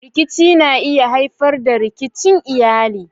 Rikici na iya haifar da rikicin iyali.